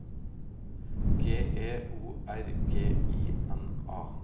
G E O R G I N A